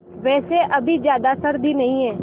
वैसे अभी ज़्यादा सर्दी नहीं है